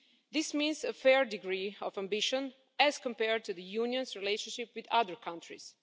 This means a fair degree of ambition as compared to the Union's relationship with other countries.